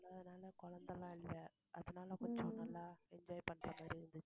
அதனால குழந்தை எல்லாம் இல்லை. அதனால கொஞ்சம் நல்லா enjoy பண்ற மாதிரி இருந்துச்சு